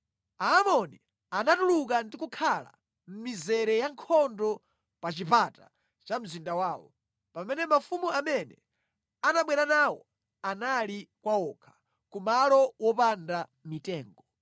Aamoni anatuluka ndi kukhala mʼmizere ya nkhondo pa chipata cha mzinda wawo, pamene mafumu amene anabwera nawo anali kwa wokha, ku malo wopanda mitengo.